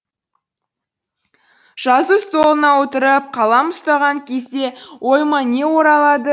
жазу столына отырып қалам ұстаған кезде ойыма не оралады